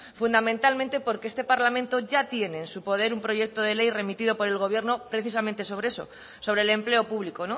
fundamentalmente porque este parlamento ya tiene en su poder un proyecto de ley remitido por el gobierno precisamente sobre eso sobre el empleo público